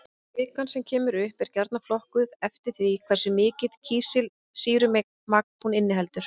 Kvikan sem kemur upp er gjarnan flokkuð eftir því hversu mikið kísilsýrumagn hún inniheldur.